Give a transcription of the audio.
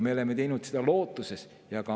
Me oleme teinud seda lootusega.